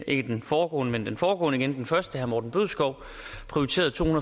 ikke den foregående men den foregående igen den første herre morten bødskov prioriteret to